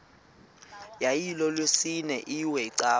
yayilolwesine iwe cawa